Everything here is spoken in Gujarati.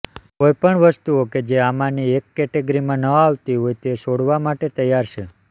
કોઈપણ વસ્તુઓ કે જે આમાંની એક કેટેગરીમાં ન આવતી હોય તે છોડવા માટે તૈયાર છે